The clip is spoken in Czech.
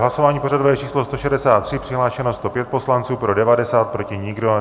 Hlasování pořadové číslo 163, přihlášeno 105 poslanců, pro 90, proti nikdo.